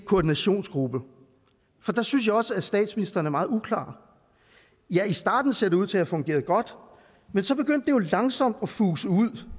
koordinationsgruppe jeg synes også der at statsministeren er meget uklar ja i starten ser det ud til at have fungeret godt men så begyndte det jo langsomt at fuse ud